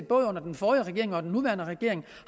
både under den forrige regering og den nuværende regering